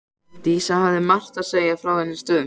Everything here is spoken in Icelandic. Dísa hafði margt að segja frá þessum stöðum.